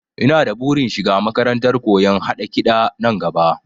Ina da burin shiga makarantar koyon haɗa kiɗa nan gaba